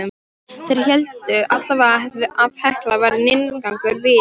Þeir héldu allavega að Hekla væri inngangur vítis.